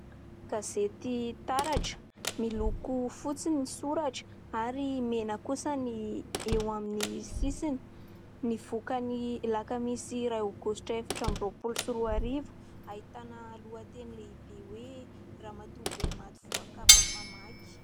Gazety Taratra, miloko fotsy ny soratra ary mena kosa ny eo amin'ny sisiny. Nivoaka ny Alakamisy iray Aogositra efatra amby roapolo sy roa arivo. Ahitana lohateny lehibe hoe :" Ramatoabe maty voakapaka famaky."